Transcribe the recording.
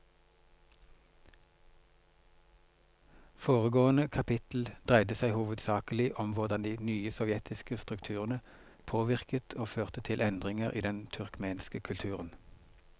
Foregående kapittel dreide seg hovedsakelig om hvordan de nye sovjetiske strukturene påvirket og førte til endringer i den turkmenske kulturen.